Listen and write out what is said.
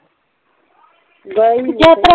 ਗਏ ਹੀ ਨਹੀ